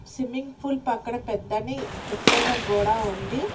Swimming pool పక్కన పెద్దని ఎత్తైన గోడ ఉంది.